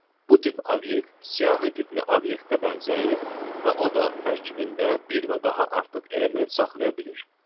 Bu tip obyekt siyahi tipli obyektə bənzəyir və o da tərkibində bir və daha artıq element saxlaya bilir.